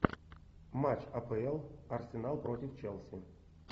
матч апл арсенал против челси